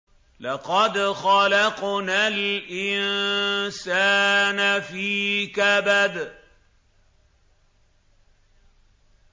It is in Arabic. لَقَدْ خَلَقْنَا الْإِنسَانَ فِي كَبَدٍ